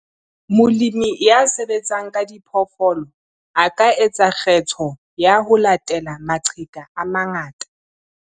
Molemi ya sebetsang ka diphoofolo a ka etsa kgetho ya ho latela maqheka a mangata.